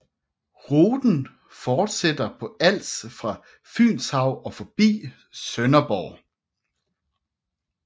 Ruten fortsætter på Als fra Fynshav og forbi Sønderborg